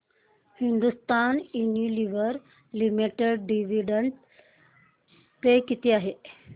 Hindustan Unilever limited dividend पे किती आहे